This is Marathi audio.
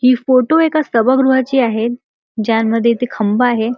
हि फोटो एका सभागृहाची आहे ज्यांमध्ये इथं खंबा आहे.